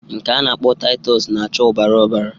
Nke a na-akpọ Taịtọs na-acha ọbara ọbara.